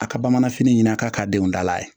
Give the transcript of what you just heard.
A ka bamananfini ɲin'a ka denw dala ye